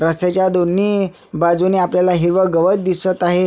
रस्त्याच्या दोन्ही बाजूनी आपल्याला हिरव गवत दिसत आहे.